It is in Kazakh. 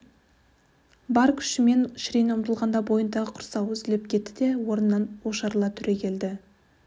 бар күшімен шірене ұмтылғанда бойындағы құрсауы үзіліп кетті де орнынан ошарыла түрегелді